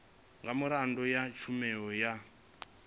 nga miraḓo ya tshumelo ya